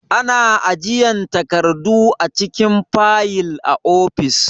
Ana ajiyan takardu a cikin fayil a ofis.